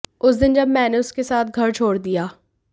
उस दिन जब मैंने उसके साथ घर छोड़ दिया